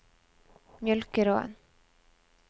Mjølkeråen